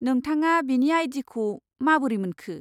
नोंथाङा बिनि आइ.डि.खौ माबोरै मोनखो?